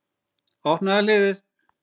Opnaðu hliðið.